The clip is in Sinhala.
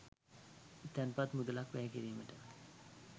තැන්පත් මුදලක් වැය කිරීමට